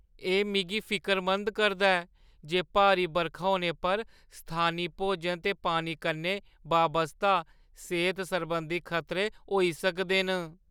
एह् मिगी फिकरमंद करदा ऐ जे भारी बरखा होने पर स्थानी भोजन ते पानी कन्नै बाबस्ता सेह्‌त सरबंधी खतरे होई सकदे न।